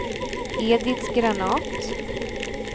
Edit Granath